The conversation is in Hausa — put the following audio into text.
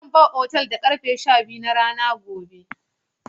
Zan bar otal da ƙarfe sha biyu na rana gobe.